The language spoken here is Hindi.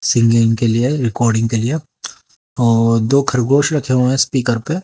सिंगिंग के लिए रिकॉर्डिंग के लिए और दो खरगोश रखे हुए स्पीकर पे।